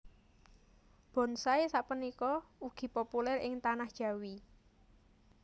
Bonsai sapunika ugi populèr ing Tanah Jawi